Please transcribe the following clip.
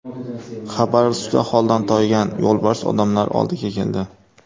Xabarovskda holdan toygan yo‘lbars odamlar oldiga keldi.